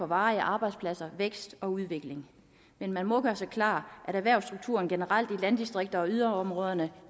varige arbejdspladser vækst og udvikling man må gøre sig klart at erhvervsstrukturen generelt i landdistrikterne og yderområderne